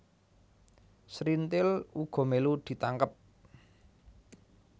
Srintil uga mélu ditangkep